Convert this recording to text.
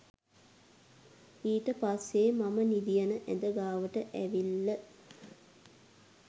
ඊට පස්සේ මම නිදියන ඇද ගාවට ඇවිල්ල